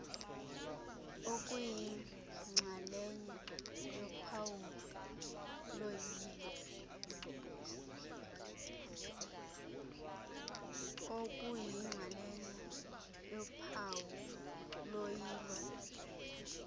okuyinxalenye yophawu loyilo